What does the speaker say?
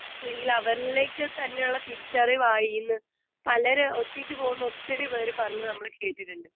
Speaker 2 അല്ലെങ്കിൽ അവനിലേക്ക്‌ തന്നെയുള്ള തിരിച്ചറിവായീന്ന് പലര് ഒറ്റയ്ക്ക് പോകുന്ന ഒത്തിരി പേര് പറഞ്ഞു നമ്മൾ കേട്ടിട്ടുണ്ട്.